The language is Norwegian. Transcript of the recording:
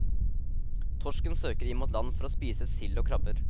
Torsken søker inn mot land for å spise sild og krabber.